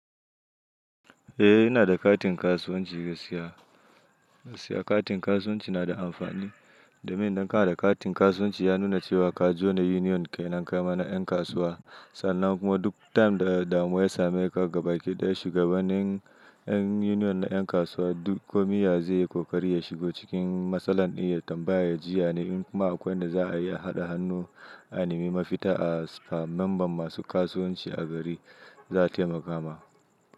Eh, ina da katin kasuwanci gaskiya. Siya katin kasuwanci na da amfani. Da mai, idan kana da katin kasuwanci ya nuna cewa ka jona union kai na ƙa'ima na 'yan kasuwa. Sannan kuma duk time da damuwa ya same ka, ka gaba kidaya shugabanin 'yan union na 'yan kasuwa. Duk gwammiya zai yi kokari ya shigo cikin matsalar, iya tambaya jiya ne in kuma akwai wanda za a iya haɗa hannu a nimi mafita. A memban masu kasuwanci a gari za a taimaka ma.